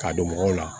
K'a don mɔgɔw la